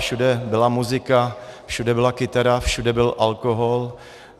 Všude byla muzika, všude byla kytara, všude byl alkohol.